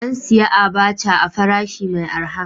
An sayi abaca a farashi mai araha.